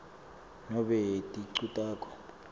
nobe ticu takho